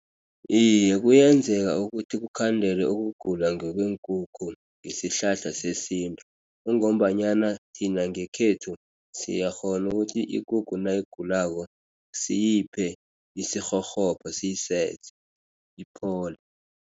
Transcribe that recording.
Iye, kuyenzeka ukuthi kukhandelwe ukugula kweenkukhu ngesihlahla sesintu, kungombanyana thina ngekhethu siyakghona ukuthi ikukhu nayigulako, siyiphe isirhorhobha siyiseze, iphole.